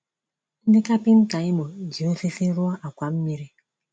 Ndị kapịnta Imo ji osisi rụọ àkwà mmiri.